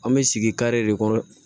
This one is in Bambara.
An bɛ sigi kare de kɔnɔ